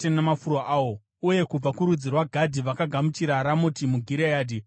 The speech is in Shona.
uye kubva kurudzi rwaGadhi vakagamuchira Ramoti muGireadhi, Mahanaimi,